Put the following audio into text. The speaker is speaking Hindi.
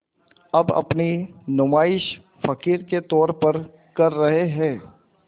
अब अपनी नुमाइश फ़क़ीर के तौर पर कर रहे हैं